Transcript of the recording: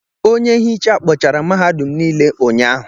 Onye nhicha kpochara mahadum niile ụnyaahụ.